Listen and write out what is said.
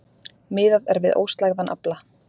Miðað er við óslægðan afla